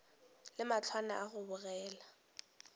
le mahlwana a go bogega